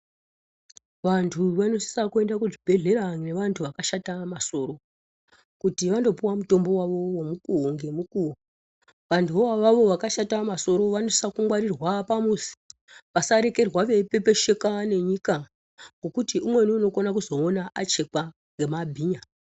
Vantu vanosisa kuenda kuzvibhedhlera nevantu vakashata masoro, kuti vandopuwa mutombo wavo womukuwo ngemukuwo. Vantuvo avavo vakashata masoro vanosisa kungwarirwa pamuzi vasarekerwa veipepesheka nenyika ngokuti umweni unokona kuzoona achekwa ngemabhinya.